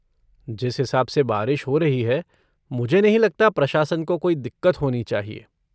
जिस हिसाब से बारिश हो रही है मुझे नहीं लगता प्रशासन को कोई दिक़्क़त होनी चाहिए।